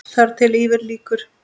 Þar til yfir lýkur.